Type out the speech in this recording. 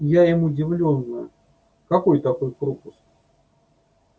я им удивлённо какой такой пропуск